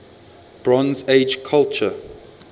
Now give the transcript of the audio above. bronze age culture